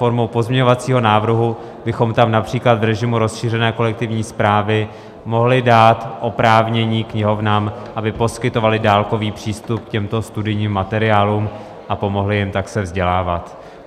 Formou pozměňovacího návrhu bychom tam například v režimu rozšířené kolektivní správy mohli dát oprávnění knihovnám, aby poskytovaly dálkový přístup k těmto studijním materiálům a pomohly jim tak se vzdělávat.